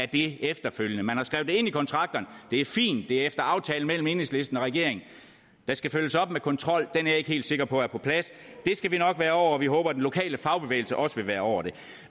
det efterfølgende man har skrevet det ind i kontrakterne og det er fint det er efter aftale mellem enhedslisten og regeringen der skal følges op med kontrol og den er jeg ikke helt sikker på er på plads det skal vi nok være over og vi håber den lokale fagbevægelse også vil være over det